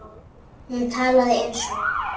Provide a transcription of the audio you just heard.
Hún talaði eins og